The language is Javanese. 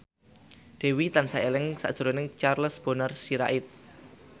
Dewi tansah eling sakjroning Charles Bonar Sirait